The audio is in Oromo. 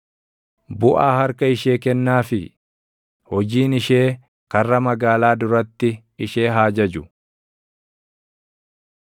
Buʼaa harka ishee kennaafii; hojiin ishee karra magaalaa duratti ishee haa jaju.